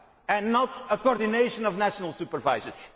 supervisor and not a coordination of national supervisors.